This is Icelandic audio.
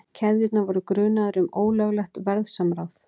Keðjurnar voru grunaðar um ólöglegt verðsamráð